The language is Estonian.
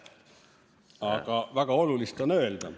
Aga väga olulist on öelda.